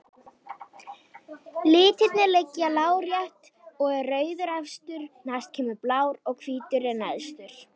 Litirnir liggja lárétt og er rauður efstur, næst kemur blár og hvítur er neðstur.